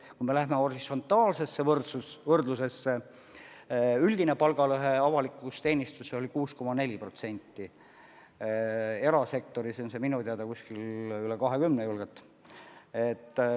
Kui me läheme horisontaalsesse võrdlusesse, siis üldine palgalõhe avalikus teenistuses oli 6,4%, erasektoris on see minu teada üle 20% julgelt.